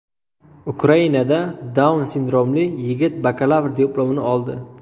Ukrainada Daun sindromli yigit bakalavr diplomini oldi.